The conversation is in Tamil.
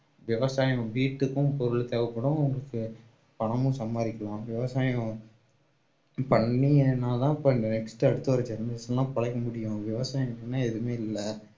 விவசாயம் வீட்டுக்கும் பொருள் தேவைப்படும் உங்களுக்கு பணமும் சம்பாரிக்கலாம் விவசாயம் பண்ணீங்கன்னாதான் போயி next அடுத்து வர generation லாம் பொழைக்க முடியும் விவசாயம் இல்லைன்னா எதுவுமே இல்லை